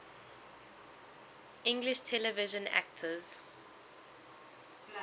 english television actors